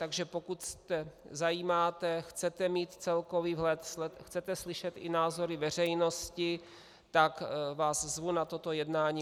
Takže pokud se zajímáte, chcete mít celkový vhled, chcete slyšet i názory veřejnosti, tak vás zvu na toto jednání.